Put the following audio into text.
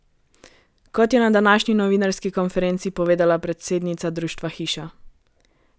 Kot je na današnji novinarski konferenci povedala predsednica društva Hiša!